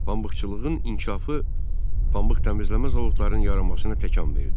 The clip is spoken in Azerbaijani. Pambıqçılığın inkişafı, pambıq təmizləmə zavodlarının yaranmasına təkan verdi.